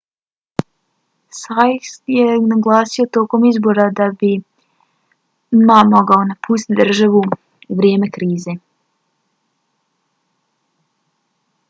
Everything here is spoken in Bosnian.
hsieh je naglasio tokom izbora da bi ma mogao napustiti državu u vrijeme krize